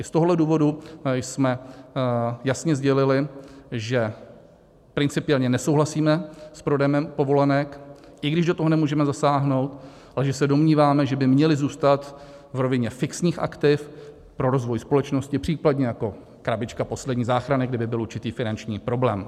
I z tohohle důvodu jsme jasně sdělili, že principiálně nesouhlasíme s prodejem povolenek, i když do toho nemůžeme zasáhnout, ale že se domníváme, že by měly zůstat v rovině fixních aktiv pro rozvoj společnosti, případně jako krabička poslední záchrany, kdyby byl určitý finanční problém.